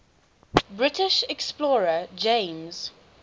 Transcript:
british explorer james